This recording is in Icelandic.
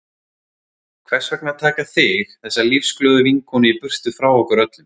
Hvers vegna að taka þig, þessa lífsglöðu vinkonu í burtu frá okkur öllum?